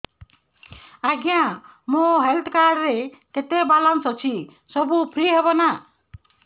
ଆଜ୍ଞା ମୋ health card ରେ କେତେ ବାଲାନ୍ସ ଅଛି ସବୁ ଫ୍ରି ହବ ନାଁ